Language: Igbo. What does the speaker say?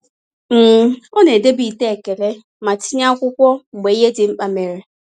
um Ọ na-edobe ite ekele ma tinye akwụkwọ mgbe ihe dị mkpa mere.